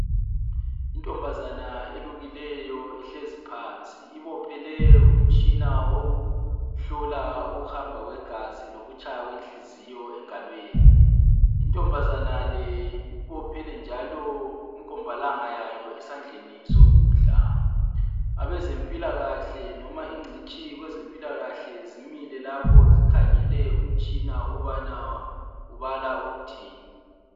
Inkazana elukileyo ihlezi phansi ibophele umtshina wokuhlola ukuhamba kwegazi lokutshaya kwenhliziyo engalweni inkazana le ibophele njalo inkombalanga yayo esandleni sokudla, abezempilakahle loba ingcitshi kwezempilakahle zimile lapho zikhangele umtshina ukubana ubala ukuthini.